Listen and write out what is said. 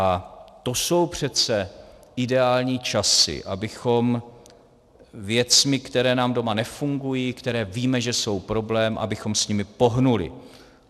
A to jsou přece ideální časy, abychom věcmi, které nám doma nefungují, které víme, že jsou problém, abychom s nimi pohnuli.